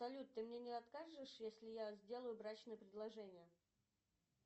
салют ты мне не откажешь если я сделаю брачное предложение